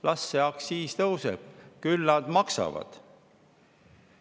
Las aktsiis tõuseb, küll nad maksavad.